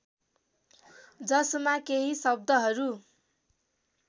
जसमा केहि शब्दहरू